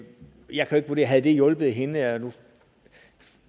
jeg kan ikke vurdere havde hjulpet hende jeg